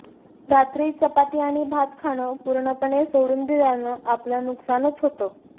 रात्री चपाती आणि भात खाणं पूर्णपणे सोडून दिल्याने आपलं नुकसानच होतं